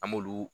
An b'olu